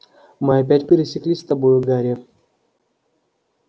мы опять пересеклись с тобою гарри